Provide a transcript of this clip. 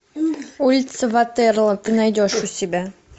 улица ватерлоо ты найдешь у себя